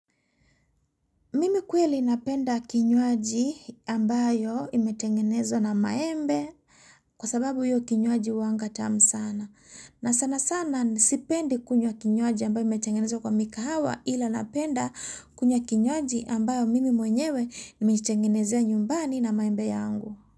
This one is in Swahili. Mimi kweli napenda kinywaji ambayo imetengenezwa na maembe kwa sababu hiyo kinywaji huwanga tamu sana. Na sana sana ni sipende kunywa kinywaji ambayo imetengenezwa kwa mikahawa ila napenda kunywa kinywaji ambayo mimi mwenyewe nimejitengenezea nyumbani na maembe yangu.